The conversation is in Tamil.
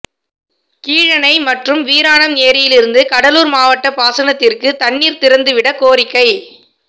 கீழணை மற்றும் வீராணம் ஏரியிலிருந்து கடலூர் மாவட்ட பாசனத்திற்கு தண்ணீர் திறந்து விட கோரிக்கை